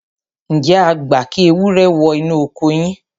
ǹjẹ́ ẹ gbà kí ewúrẹ́ wọ inú oko yín?